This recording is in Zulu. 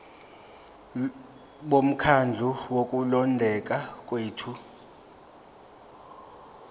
bomkhandlu wokulondeka kwethu